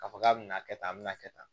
K'a fɔ k'a bɛna kɛ tan a bɛ na kɛ tan